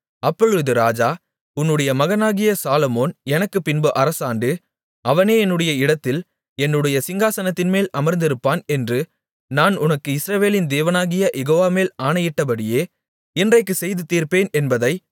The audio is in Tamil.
அப்பொழுது ராஜா உன்னுடைய மகனாகிய சாலொமோன் எனக்குப்பின்பு அரசாண்டு அவனே என்னுடைய இடத்தில் என்னுடைய சிங்காசனத்தின்மேல் அமர்ந்திருப்பான் என்று நான் உனக்கு இஸ்ரவேலின் தேவனாகிய யெகோவா மேல் ஆணையிட்டபடியே இன்றைக்குச் செய்து தீர்ப்பேன் என்பதை